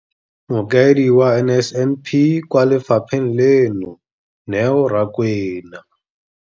Mokaedi wa NSNP kwa lefapheng leno, Neo Rakwena.